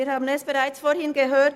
Wir haben es vorhin schon gehört: